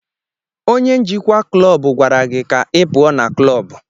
Onye njikwa klọbu gwara gị ka ị pụọ na klọbu!